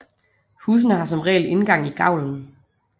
Husene har som regel indgang i gavlen